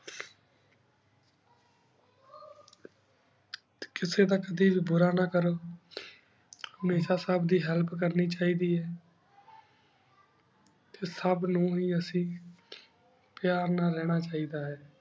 T ਕਿਸੀ ਨਾਲ ਕਦੀ ਬੁਰਾ ਨਾ ਕਰੋ ਹਮੇਸ਼ਾ ਸਬ ਦੇ help ਕਰਨੀ ਚਾਹੀ ਦੇ ਆ ਟੀ ਸਬ ਨੂ ਹੇ ਅਸੀਂ ਪਯਾਰ ਨਾਲ ਰਹਨਾ ਚਾਹੀ ਦਾ ਹੈ